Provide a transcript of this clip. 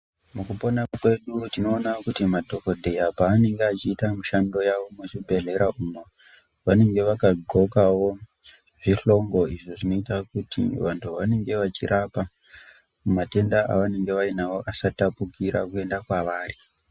Mukupona kwedu tinoona kuti madhokodheya panenge achiita mishando yawo muzvibhedhlera umu vanenge vakagonkawo zvihlongo izvi zvinoita kuti vantu vanenge vachirapa matenda avanenge vanawo asatapukira kuenda kunawo.